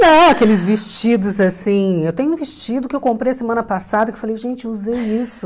Não, aqueles vestidos assim... Eu tenho um vestido que eu comprei semana passada, que eu falei, gente, usei isso.